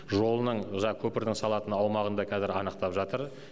жолының жа көпірдің салатын аумағын да кәзір анықтап жатыр